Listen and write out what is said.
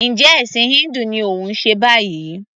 Njẹ́ ẹ̀ṣìn híńdù ni òun ṣe báyìí?